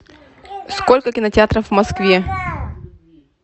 сколько кинотеатров в москве